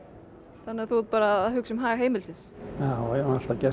þannig þú ert að hugsa um hag heimilisins já já og hef alltaf gert